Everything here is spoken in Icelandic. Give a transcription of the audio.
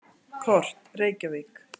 Kort: Reykjavík.